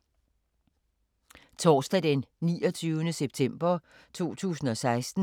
Torsdag d. 29. september 2016